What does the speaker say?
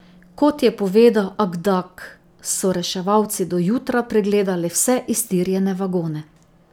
Kot je povedal Akdag, so reševalci do jutra pregledali vse iztirjene vagone.